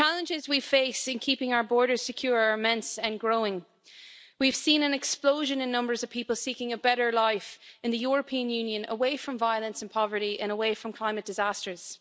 The challenges we face in keeping our borders secure are immense and growing. We've seen an explosion in the numbers of people seeking a better life in the European Union away from violence and poverty and away from climate disasters.